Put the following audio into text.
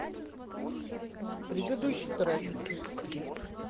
предыдущий трек